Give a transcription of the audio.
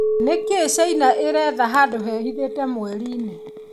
Nĩkĩ China ĩretha handũ hehithĩte mweri-inĩ?